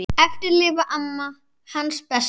Eftir lifir amma, hans besta.